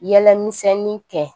Yɛlɛ misɛnnin kɛ